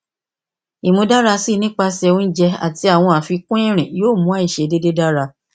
imudarasi nipasẹ ounjẹ ati awọn afikun irin yoo mu aiṣedede dara